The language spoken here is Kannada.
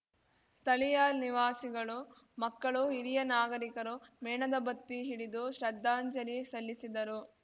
ಸ್ಥಳೀಯ ನಿವಾಸಿಗಳು ಮಕ್ಕಳು ಹಿರಿಯ ನಾಗರಿಕರು ಮೇಣದ ಬತ್ತಿ ಹಿಡಿದು ಶ್ರದ್ಧಾಂಜಲಿ ಸಲ್ಲಿಸಿದರು